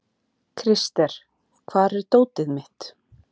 Krister, hvar er dótið mitt?